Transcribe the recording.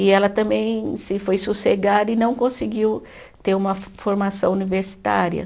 E ela também se foi sossegar e não conseguiu ter uma formação universitária.